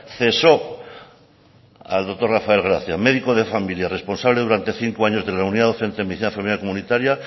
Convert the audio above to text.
cesó al doctor rafael gracia médico de familia responsable durante cinco años de la unidad docente de medicina familiar y comunitaria